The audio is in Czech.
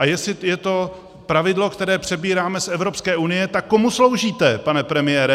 A jestli je to pravidlo, které přebíráme z Evropské unie, tak komu sloužíte, pane premiére?